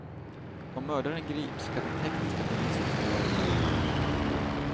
Om mördaren grips kan den tekniska bevisningen bli avgörande.